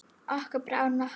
Okkur brá nokkuð.